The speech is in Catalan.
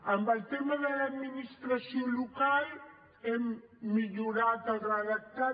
en el tema de l’administració local n’hem millorat el redactat